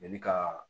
Mɛli ka